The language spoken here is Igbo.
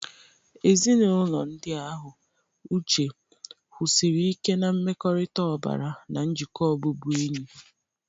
Ezinaụlọ ndị ahụ, Uche, kwusiri ike na mmekọrịta ọbara na njikọ ọbụbụenyi.